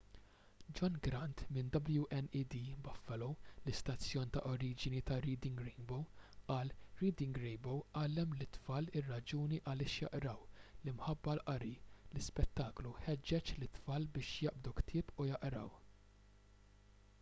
john grant minn wned buffalo l-istazzjon ta’ oriġini ta’ reading rainbow qal: reading rainbow għallem lit-tfal ir-raġuni għaliex jaqraw,...l-imħabba għall-qari — [l-ispettaklu] ħeġġeġ lit-tfal biex jaqbdu ktieb u jaqraw.